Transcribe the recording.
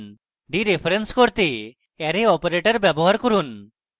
dereference করতে arrow operator> ব্যবহার করুন